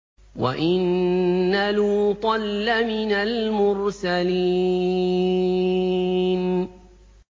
وَإِنَّ لُوطًا لَّمِنَ الْمُرْسَلِينَ